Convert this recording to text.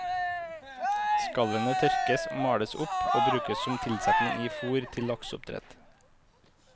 Skallene tørkes og males opp og brukes som tilsetting i fôr til lakseoppdrett.